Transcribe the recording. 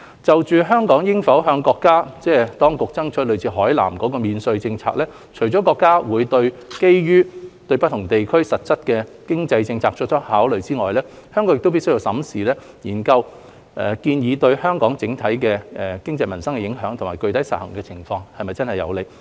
就香港應否向國家當局爭取類似海南的免稅政策，除了國家會基於對不同地區實際的經濟政策作出考慮外，香港亦必須審慎研究建議對香港整體經濟民生的影響及具體實行情況是否真正有利。